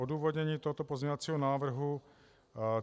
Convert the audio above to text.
Odůvodnění tohoto pozměňovacího návrhu.